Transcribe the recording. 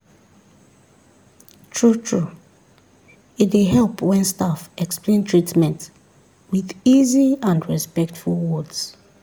true-true e dey help when staff explain treatment with easy and respectful words.